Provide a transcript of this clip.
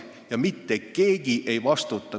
Ja mitte keegi ei vastuta.